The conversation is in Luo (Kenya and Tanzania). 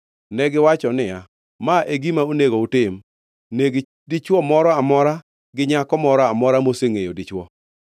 Negiwacho niya, “Ma e gima onego utim. Neg dichwo moro amora to gi nyako moro amora mosengʼeyo dichwo.”